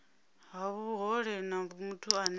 ha vhuhole na muthu ane